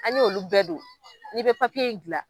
An y'olu bɛɛ don, n'i bɛ papiye in dilan.